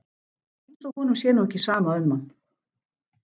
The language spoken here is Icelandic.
Eins og honum sé nú ekki sama um mann!